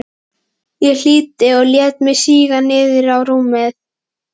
Ég hlýddi og lét mig síga niður á rúmið.